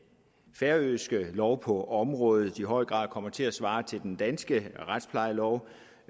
færøske lov på området i høj grad kommer til at svare til den danske retsplejelov